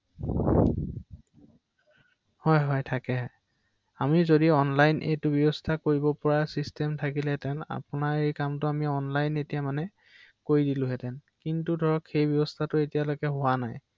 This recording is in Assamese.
অ এনে মানে বেংকবোৰৰ লগত আপোনালোকৰ হেৰি থাকে নহয় জানো ৷